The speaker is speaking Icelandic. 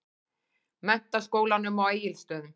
Menntaskólanum á Egilsstöðum.